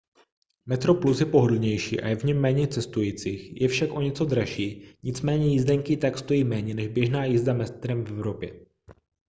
metroplus je pohodlnější a je v něm méně cestujících je však o něco dražší nicméně jízdenky i tak stojí méně než běžná jízda metrem v evropě